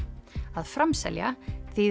að framselja þýðir